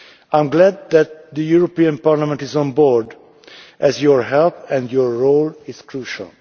I am glad that the European Parliament is on board as its help and its role is crucial.